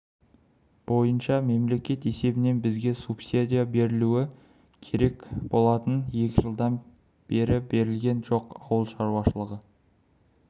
бойынша мемлекет есебінен бізге субсидия берілуі керек болатын екі жылдан бері берілген жоқ ауыл шаруашылығы